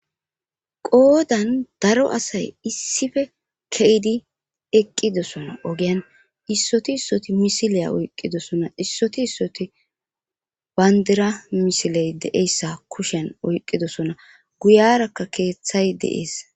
qoodan daro asay issife keyidi eqqidosona ogian issoti issoti misileya oyqqidosona issoti issoti bandira misiley de7eyssa kushen oyqqidosona guyarakka keeththay deees